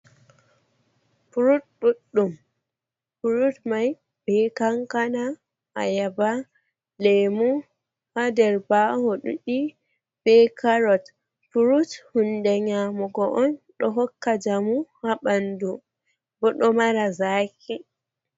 Furut ɗudɗum. furut mai be kankana, ayaba, lemu ha ɗer baho ɗuɗi be karot. Furut hunɗe nyamugo on ɗo hokka jamu ha banɗum. Bo ɗo mara zaki.